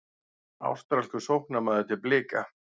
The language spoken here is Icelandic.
Ástralskur sóknarmaður til Blika